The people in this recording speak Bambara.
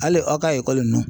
Hali aw ka ekɔli ninnu.